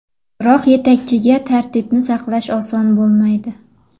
Biroq yetakchiga tartibni saqlash oson bo‘lmaydi.